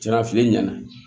Sara fili ɲɛna